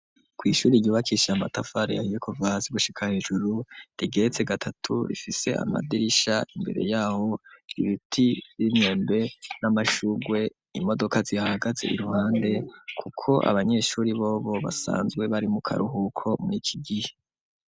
Ku ishure ryubakishije amatafari ya yekovazi gushika hejuru rigetse gatatu rifise amadirisha imbere yaho ibiti vy'imyembe n'amashugwe imodoka zihahagaze iruhande kuko abanyeshure bobo basanzwe bari mu karuhuko muri iki gihe.